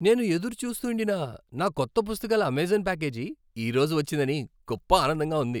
నేను ఎదురు చూస్తూండిన నా కొత్త పుస్తకాల అమెజాన్ ప్యాకేజీ ఈ రోజు వచ్చిందని గొప్ప ఆనందంగా ఉంది.